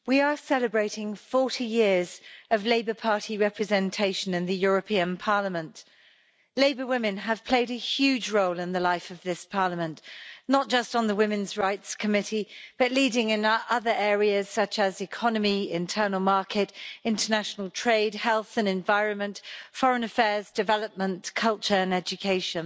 Madam President, we are celebrating 40 years of Labour Party representation in the European Parliament. Labour women have played a huge role in the life of this Parliament not just on the Women's Rights Committee, but leading in other areas such as economy, internal market, international trade, health and environment, foreign affairs, development, culture and education.